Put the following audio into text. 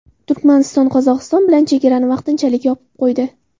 Turkmaniston Qozog‘iston bilan chegarani vaqtinchalik yopib qo‘ydi.